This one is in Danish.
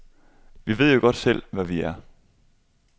Vi ved jo godt selv, hvad vi er.